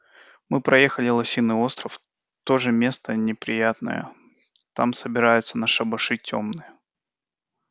мы проехали лосиный остров тоже место неприятное там собираются на шабаши тёмные